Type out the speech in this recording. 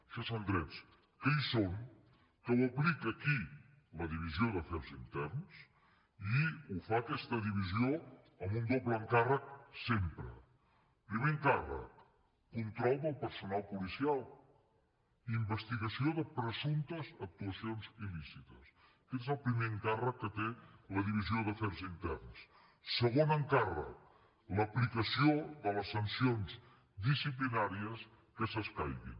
això són drets que hi són que ho aplica qui la divisió d’afers interns i ho fa aquesta divisió amb un doble encàrrec sempre primer encàrrec control del personal policial investigació de presumptes actuacions il·lícites aquest és el primer encàrrec que té la divisió d’afers interns segon encàrrec l’aplicació de les sancions disciplinàries que s’escaiguin